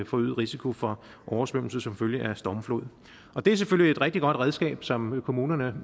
forøget risiko for oversvømmelse som følge af stormflod det er selvfølgelig et rigtig godt redskab som kommunerne